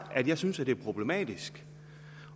at jeg synes det er problematisk